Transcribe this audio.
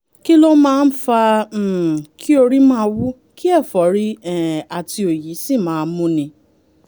kí ló máa ń fa um kí orí máa wú kí ẹ̀fọ́rí um àti òyì sì máa múni?